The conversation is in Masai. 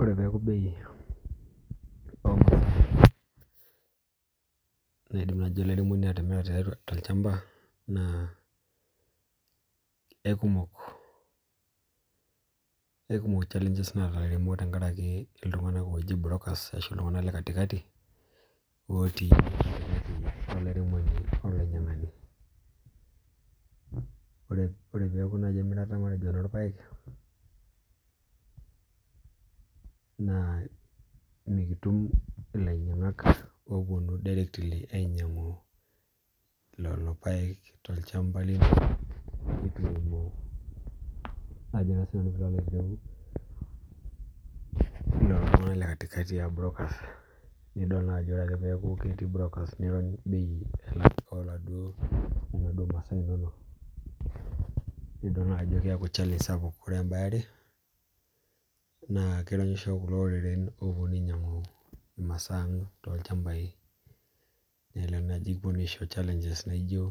Ore peeku bei o naidim nai atimira olairemoni tolchamba naa ekumok naataa ilairemok tenkaraki iltunganak ooji brokers ashu iltunganak le katikati otii katikati olairemoni olainyang'ani Ore peeku nai emirata matejo enolpaek naa mikitum ilainyang'ak opuonu directly ainyang'u lelo paek tolchamba lino netu kipuo najo nai siinanu piilo aitereu lelo tung'anak le katikati aa brokers nidol naajo ore peeku ketii lelobrokas neirony bei oladuo onaduo masaa inonok nidol naajo keekuchallange sapuk Ore embae eare naa kironyisho kulo oreren oopuonu ainyang'u imasaa ang tolchambai nelelek naji kipuonu aisho challenge naijo